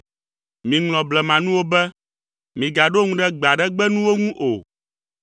“Miŋlɔ blemanuwo be. Migaɖo ŋu ɖe gbe aɖe gbe nuwo ŋu o.